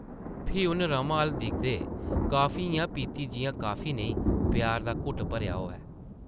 फ्ही उन्न रमा अʼल्ल दिखदे कॉफी इʼयां पीती जिʼयां कॉफी नेईं प्यार दा घुट्ट भरेआ होऐ ।